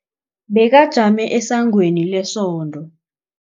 Bekajame esangweni lesonto.